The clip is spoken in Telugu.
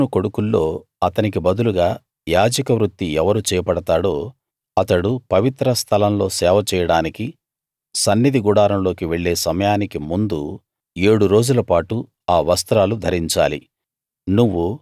అహరోను కొడుకుల్లో అతనికి బదులుగా యాజక వృత్తి ఎవరు చేపడతాడో అతడు పవిత్ర స్థలం లో సేవ చేయడానికి సన్నిధి గుడారంలోకి వెళ్ళే సమయానికి ముందు ఏడు రోజులపాటు ఆ వస్త్రాలు ధరించాలి